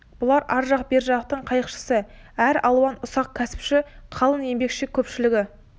бұлар ар жақ бер жақтың қайықшысы әр алуан ұсақ кәсіпші қалың еңбекші көпшілігі